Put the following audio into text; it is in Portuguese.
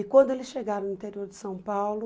E quando eles chegaram no interior de São Paulo,